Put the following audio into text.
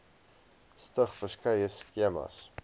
stig verskeie skemas